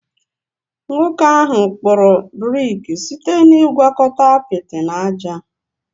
Nwoke ahụ kpụrụ brik site na ịgwakọta apịtị na ájá